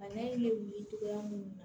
Bana in bɛ wuli cogoya mun na